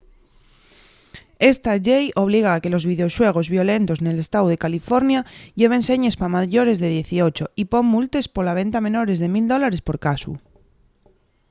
esta llei obliga a que los videoxuegos violentos nel estáu de california lleven señes pa mayores de 18 y pon multes pola venta a menores de 1 000$ por casu